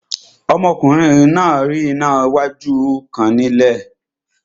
Ọmọkùnrin náà rí iná wájú kan ní ilẹ̀